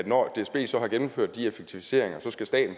når dsb så har gennemført de effektiviseringer